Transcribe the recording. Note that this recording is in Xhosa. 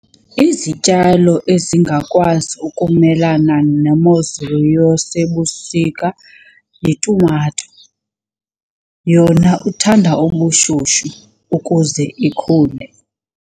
Izityalo ezingakwazi ukumelana nemozulu yasebusika yitumato. Yona ithanda ubushushu ukuze ikhule.